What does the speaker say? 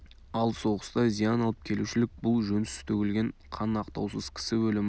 ал соғыста зиян алып келушілік бұл жөнсіз төгілген қан ақтаусыз кісі өлімі